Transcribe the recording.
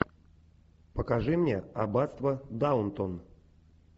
покажи мне аббатство даунтон